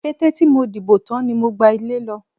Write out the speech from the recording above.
Kété tí mo dìbò tán ni mo gba ilé lọ.